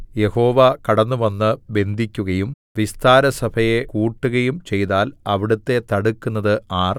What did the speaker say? യഹോവ കടന്നുവന്ന് ബന്ധിക്കുകയും വിസ്താരസഭയെ കൂട്ടുകയും ചെയ്താൽ അവിടുത്തെ തടുക്കുന്നത് ആർ